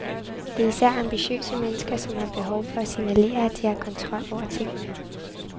Det er især ambitiøse mennesker, som har behov for at signalere, at de har kontrol over tingene.